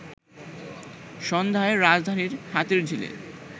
সন্ধ্যায় রাজধানীর হাতিরঝিলে